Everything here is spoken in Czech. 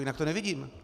Jinak to nevidím.